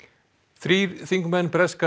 þrír þingmenn breska